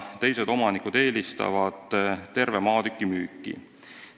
Teised omanikud eelistavad terve maatüki müüki.